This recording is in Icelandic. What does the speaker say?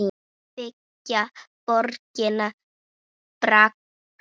Byggja borgir bragga?